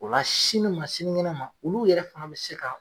O la sini ma sini kɛnɛ ma olu yɛrɛ fana be se ka